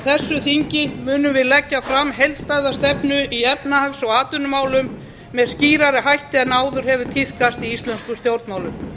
þessu þingi munum við leggja fram heildstæða stefnu í efnahags og atvinnumálum með skýrari hætti en áður hefur tíðkast í íslenskum stjórnmálum